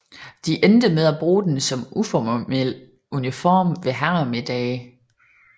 De endte med at bruge den som uformel uniform ved herremiddage